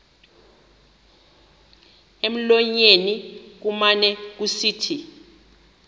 emlonyeni kumane kusithi